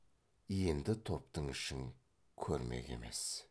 енді топтың ішін көрмек емес